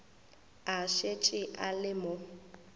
a šetše a le mo